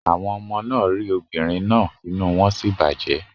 Àwọn ọmọ náà rí obìnrin náà inú wọn sì bàjẹ́.